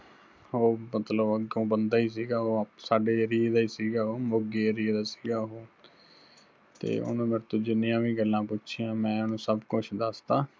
ਉਹ ਮਤਲਬ ਅੱਗੋਂ ਬੰਦਾ ਹੀ ਸਿਗਾ ਉਹ, ਸਾਡੇ area ਦਾ ਹੀ ਸਿਗਾ ਉਹੋ, ਮੋਗੇ area ਦਾ ਸਿਗਾ ਉਹੋ, ਤੇ ਉਹਨੇ ਮੇਰੇ ਤੋਂ ਜਿਨੀਆਂ ਵੀ ਗੱਲਾਂ ਪੁਛੀਆਂ ਮੈਂ ਉਹਨੂੰ ਸੱਬ ਕੁੱਝ ਦਸਤਾ